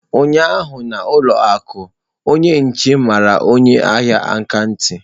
Ụnyaahụ na ụlọ akụ, onye nche mara onye ahịa aka ntị.